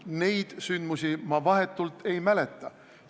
Neid sündmusi ma vahetult ei mäleta.